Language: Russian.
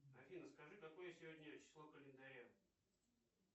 афина скажи какое сегодня число календаря